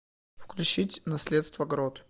включить наследство грот